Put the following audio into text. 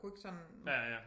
Kunne ikke sådan